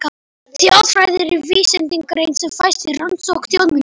Þjóðfræði er vísindagrein sem fæst við rannsókn þjóðmenningar.